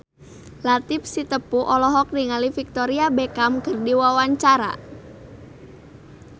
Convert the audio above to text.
Latief Sitepu olohok ningali Victoria Beckham keur diwawancara